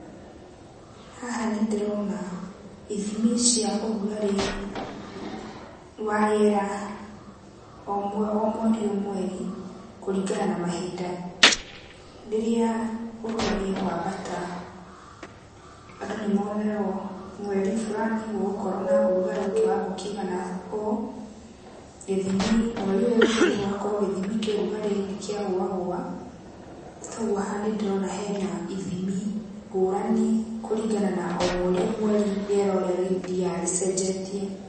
Haha nĩndĩrona ithimi cia ũrugarĩ wa rĩera o mweri o mweri kuringana na mahinda. Rĩrĩa ũrugarĩ wambata, andũ nĩmeragũo mweri fulani gũgũkorwo na ũrugarĩ kĩwango kĩigana ũũ. Githimi, mweri ũyũ ũgakora gĩthimi kĩa ũrugarĩ nĩkĩagũagũa. Toguo haha nĩndĩrona hena ithimi ngũrani, kũringana na o mweri o mweri rĩera ũrĩa rĩthiaga rĩcenjetie.